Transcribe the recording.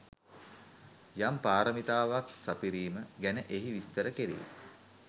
යම් පාරමිතාවක් සපිරීම ගැන එහි විස්තර කෙරේ.